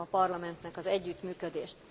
Köszönöm a Parlamentnek az együttműködést.